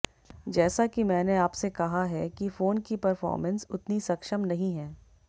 जैसा कि मैंने आपसे कहा है कि फोन की परफॉरमेंस उतनी सक्षम नहीं है